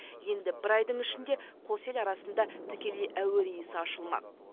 енді бір айдың ішінде қос ел арасында тікелей әуе рейсі ашылмақ